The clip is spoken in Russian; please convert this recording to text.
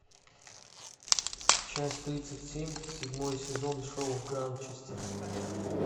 часть тридцать семь седьмой сезон шоу гранчестер